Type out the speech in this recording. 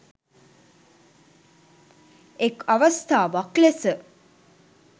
එක් අවස්ථාවක් ලෙස